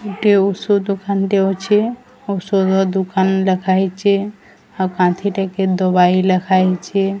ଗୁଟେ ଔଷଧ ଦୁକାନ ଟେ ଅଛେ ଔଷଧ ଦୁକାନ ଲେଖା ହୋଇଚି ଆଉ କାନ୍ଥିଟେକି ଦୁବାଇ ଲେଖା ହୋଇଚି।